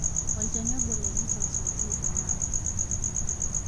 olchani obo le measles oji MR